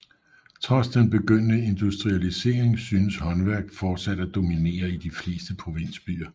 Trods den begyndende industrialisering synes håndværk fortsat at dominere i de fleste provinsbyer